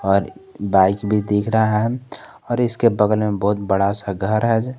और बाइक भी दिख रहा है और इसके बगल में बहुत बड़ा सा घर है।